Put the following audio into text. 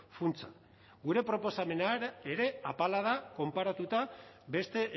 funtsa gure proposamena ere apala da konparatuta beste